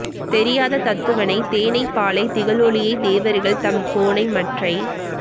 தெரியாத தத்துவனைத் தேனைப் பாலைத் திகழொளியைத் தேவர்கள் தம் கோனை மற்றைக்